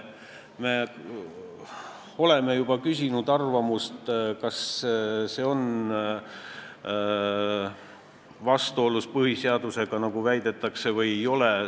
Me oleme juba küsinud arvamust, kas see on vastuolus põhiseadusega, nagu väidetakse, või ei ole.